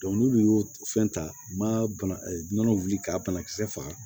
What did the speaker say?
n'olu y'o fɛn ta u ma bana wuli ka banakisɛ faga